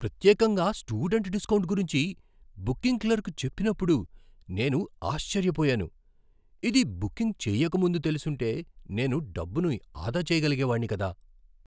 ప్రత్యేకంగా student discount గురించి booking clerk చెప్పినప్పుడు నేను ఆశ్చర్యపోయాను, ఇది బుకింగ్ చేయక ముందు తెలిసుంటే నేను డబ్బును ఆదా చేయగలిగేవాడిని కదా!